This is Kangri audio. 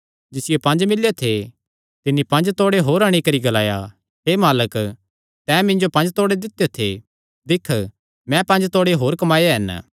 जिसियो पंज मिल्लेयो थे तिन्नी पंज तोड़े होर अंणी करी ग्लाया हे मालक तैं मिन्जो पंज तोड़े दित्यो थे दिक्ख मैं पंज तोड़े होर कमाये हन